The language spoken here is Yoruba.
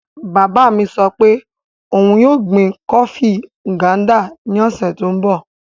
Bàbá mi sọ pé òun yóò gbin kọọfí ngándà ní ọ̀sẹ̀ tó n bọ̀